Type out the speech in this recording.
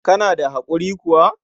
Kana da haƙuri kuwa?